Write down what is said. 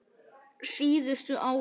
Síðustu árin